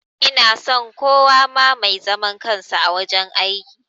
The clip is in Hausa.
Ina son kowa ma mai zaman kansa wajen aiki